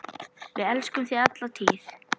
Við elskum þig alla tíð.